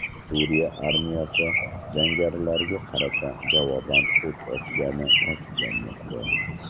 Suriya armiyasi jangarilarga qarata javoban o‘t ochgani ta’kidlanmoqda.